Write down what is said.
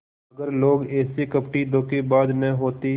अगर लोग ऐसे कपटीधोखेबाज न होते